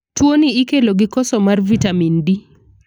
Tuo ni ikelo gi koso mar vitamin D.